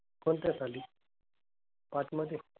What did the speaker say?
कोणत्या साली? पाचमधे?